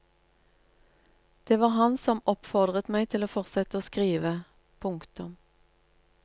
Det var han som oppfordret meg til å fortsette å skrive. punktum